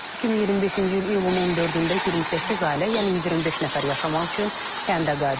2025-ci il iyulun 14-də 28 ailə, yəni 125 nəfər yaşamaq üçün kəndə qayıdıb.